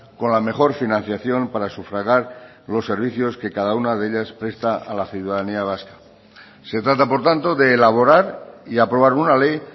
con la mejor financiación para sufragar los servicios que cada una de ellas presta a la ciudadanía vasca se trata por tanto de elaborar y aprobar una ley